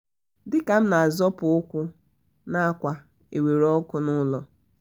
dịka m na azọpụ ụkwụ na ákwà ewere ọkụ nụlọ